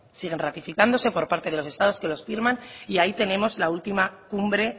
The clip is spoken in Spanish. siguen ratificándose por parte delos estados que los firman y ahí tenemos la última cumbre